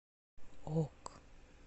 ок